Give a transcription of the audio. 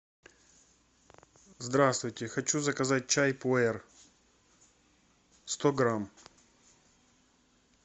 здравствуйте хочу заказать чай пуэр сто грамм